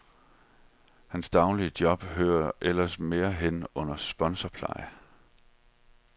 Hans daglige job hører ellers mere hen under sponsorpleje.